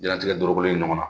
Diɲɛnatigɛ dɔrɔgu ye ɲɔgɔn na